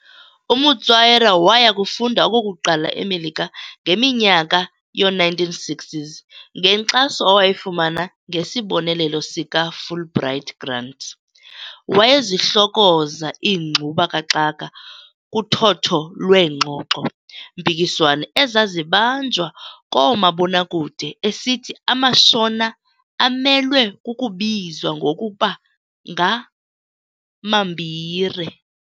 UMutswairo wayakufunda okokuqala eMelika ngeminyaka yoo-1960s, ngenkxaso awayifumana ngesibonelela sikaFulbright grant. Wayezihlokoza iingxuba-kaxaka, kuthotho lweengxoxo-mpikiswano ezazibanjwa koomabonakude, esithi amaShona amelwe kukubizwa ngokuba ng"amaMbire."